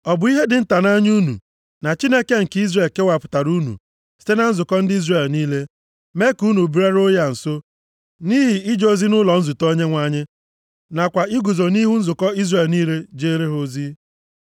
Ọ bụ ihe dị nta nʼanya unu na Chineke nke Izrel kewapụtara unu site na nzukọ ndị Izrel niile, mee ka unu bịaruo ya nso, nʼihi ije ozi nʼụlọ nzute Onyenwe anyị, nakwa iguzo nʼihu nzukọ Izrel niile ijere ha ozi + 16:9 \+xt Dit 10:8\+xt*?